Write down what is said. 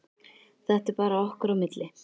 Þetta er bara okkar á milli.